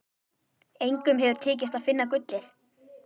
Engum hefur tekist að finna gullið.